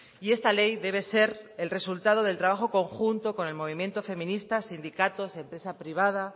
y esta ley debe ser el resultado del trabajo conjunto con el movimiento feminista sindicatos empresa privada